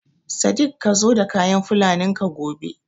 Sadik ka zo da kayan Fulanin ka gobe!